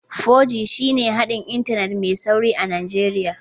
4G shine haɗin Intanet mai sauri a Najeriya